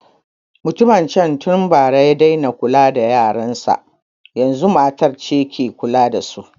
Mutumin can tun bara ya daina kula da yaran sa, yazun matar ce ke kula da su.